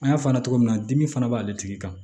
An y'a fɔ a ɲɛna cogo min na dimi fana b'ale tigi kan